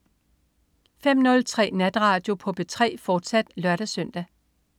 05.03 Natradio på P3, fortsat (lør-søn)